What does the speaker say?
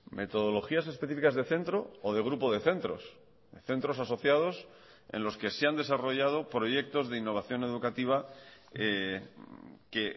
metodologías específicas de centro o de grupo de centros centros asociados en los que se han desarrollado proyectos de innovación educativa que